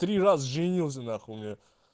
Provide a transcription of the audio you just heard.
три раза женился на хуй мне